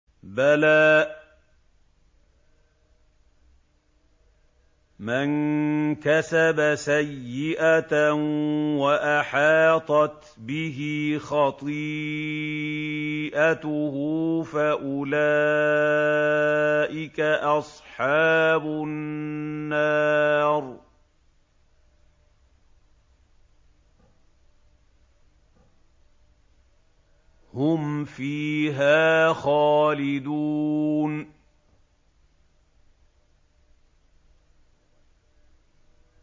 بَلَىٰ مَن كَسَبَ سَيِّئَةً وَأَحَاطَتْ بِهِ خَطِيئَتُهُ فَأُولَٰئِكَ أَصْحَابُ النَّارِ ۖ هُمْ فِيهَا خَالِدُونَ